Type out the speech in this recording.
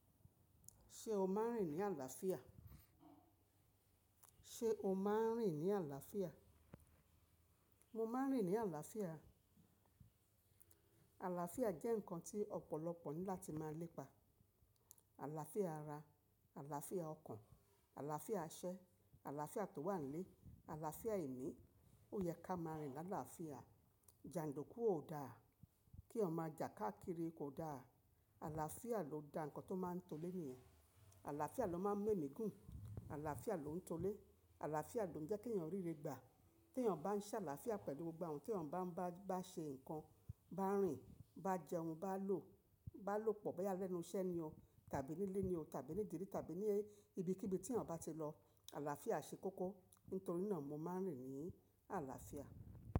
Ṣé o máa ń rìn ní àlàáfíà? Sé o máa ń rìn ní àlàáfíà? Mo máa ń rìn ní àlàáfíà. Àlàáfíà jẹ́ nǹkan tí ọ̀pọ̀lọpọ̀ ní láti máa lépa. Àlàáfíà ara, àlàáfíà ọkàn, àlàáfíà iṣẹ, àlàáfíà tó wà nílé, àlàáfíà ìní. Ó yẹ ká máa rìn ní àlàáfíà. Jàǹdùkú ò da, kí eyan ma jà káàkiri kò da. Àlàáfíà ló da nǹkan tó máa ń to ile niyen. Àlàáfíà ló máa ń mú émí gùn. Àlàáfíà lóuń to ilé. Àlàáfíà ló ń jẹ́ kí èyàn ríre gbà. Tí èyàn bá ń ṣàlàáfíà pẹ̀lú gbogbo awon, tí èyàn bá ń bá ṣe nǹkan, bá ń rìn, bá jẹun, bá lò, bá lòpọ̀, bóyá lẹ́nu iṣẹ́ ni o tàbí nílé ni o tàbí nídìrí tàbí ní ibikíbi tí ènìyàn bá ti lọ, àlàáfíà ṣe kókó. Nítorí náà mo máa ń rìn ní àlàáfíà.